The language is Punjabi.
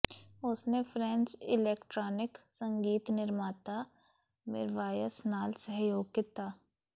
ਉਸਨੇ ਫ੍ਰੈਂਚ ਇਲੈਕਟ੍ਰਾਨਿਕ ਸੰਗੀਤ ਨਿਰਮਾਤਾ ਮਿਰਵਾਯਸ ਨਾਲ ਸਹਿਯੋਗ ਕੀਤਾ